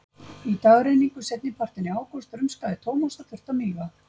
Í dagrenningu seinnipartinn í ágúst rumskaði Thomas og þurfti að míga.